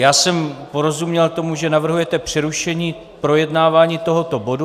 Já jsem porozuměl tomu, že navrhujete přerušení projednávání tohoto bodu.